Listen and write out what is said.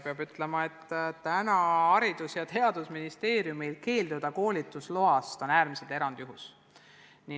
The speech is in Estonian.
Peab ütlema, et on äärmiselt erandlik, kui Haridus- ja Teadusministeerium keeldub koolitusluba andmast.